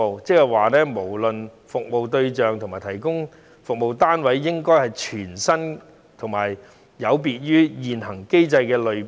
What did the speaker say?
換句話說，不論服務對象或提供服務的單位，也應該是全新及有別於現行機制的類別。